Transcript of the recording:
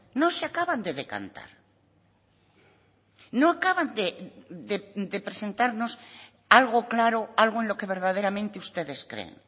no se acaban de decantar no acaban de presentarnos algo claro algo en lo que verdaderamente ustedes creen